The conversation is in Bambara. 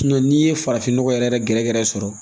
n'i ye farafin nɔgɔ yɛrɛ gɛrɛgɛrɛ sɔrɔ